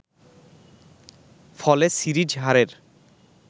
ফলে সিরিজ হারের